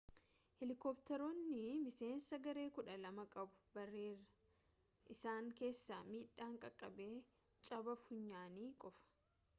helekoptarootni miiseensa garee kudhaa lama qabu baraare isaan keessaa miidhaan qaqabee caba funyaanii qofa